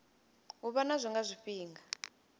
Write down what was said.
u vha nazwo nga zwifhinga